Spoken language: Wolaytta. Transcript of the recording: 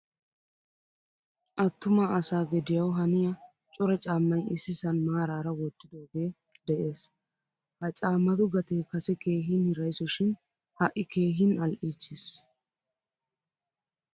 Attuma asa gediyawu haniya cora caamay issisan maararaa wottidoge de' ees. Ha caamatu gatee kase keehin hirayso shin hai keehin ali'chchiis.